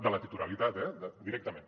de la titularitat eh directament